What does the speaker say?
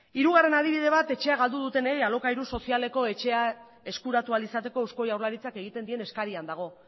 hirugarren adibide bat etxea galdu dutenei alokairu sozialeko etxea eskuratu ahal izateko eusko jaurlaritzak egiten dien eskarian dago